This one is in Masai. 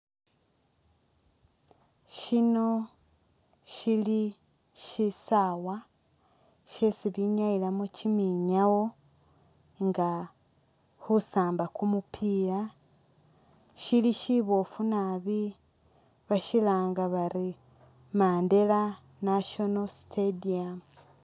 Shino shili shisaawa shesi binyayilamo kyiminyaawo nga khusaamba kumupiila, shili shibofu naabi bashilanga bali Mandela National stadium.